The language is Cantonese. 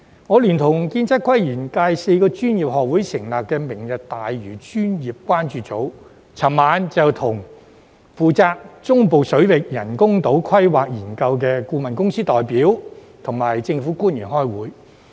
我聯同建築、測量、都市規劃及園境界4個專業學會成立的"明日大嶼專業關注組"，昨晚與負責中部水域人工島規劃研究的顧問公司代表及政府官員開會。